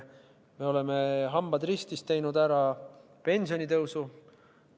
Me oleme, hambad ristis, teinud ära pensionitõusu.